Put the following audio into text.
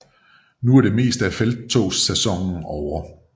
Nu var det meste af felttogssæsonen ovre